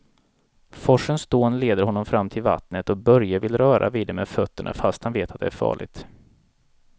Forsens dån leder honom fram till vattnet och Börje vill röra vid det med fötterna, fast han vet att det är farligt.